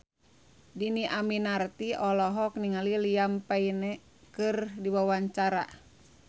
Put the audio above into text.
Dhini Aminarti olohok ningali Liam Payne keur diwawancara